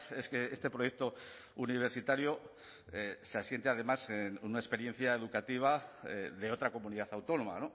es que este proyecto universitario se asiente además en una experiencia educativa de otra comunidad autónoma